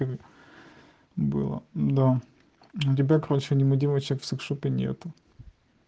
было до тебя короче аниме девочек в сексшопе нету